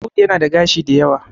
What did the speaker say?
Audu yana da gashi da yawa